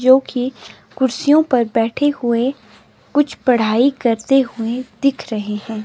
जो कि कुर्सियों पर बैठे हुए कुछ पढ़ाई करते हुएं दिख रहे हैं।